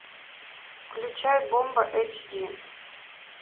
включай бомба эйч ди